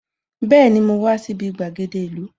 Bẹẹni, mo wá sí ibi gbàgede ìlú